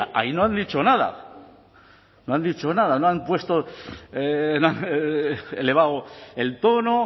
ahí no han dicho nada no han dicho nada no han puesto elevado el tono